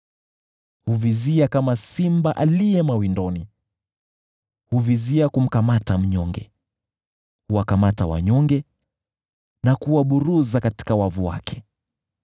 Huvizia kama simba aliye mawindoni; huvizia kumkamata mnyonge, huwakamata wanyonge na kuwaburuza katika wavu wake.